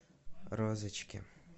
розочке